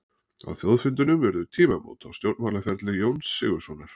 Á þjóðfundinum urðu tímamót á stjórnmálaferli Jóns Sigurðssonar.